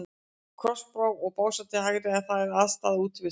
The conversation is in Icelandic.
Krossá og Básar til hægri, en þar er aðstaða Útivistar.